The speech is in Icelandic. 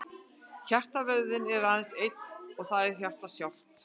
Hjartavöðvinn er aðeins einn, það er hjartað sjálft.